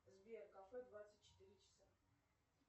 сбер кафе двадцать четыре часа